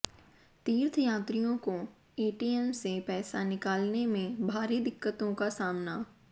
तीर्थ यात्रियों को एटीएम से पैसा निकालने में भारी दिक्कतों का सामना